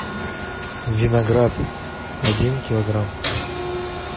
виноград один килограмм